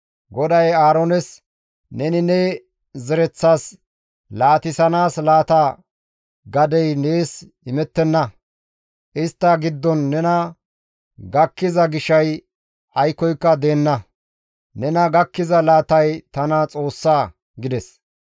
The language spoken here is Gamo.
GODAY Aaroones, «Neni ne zereththas laatissanaas laata gadey nees imettenna; istta giddon nena gakkiza gishay aykkoyka deenna; nena gakkiza laatay tana Xoossaa» gides.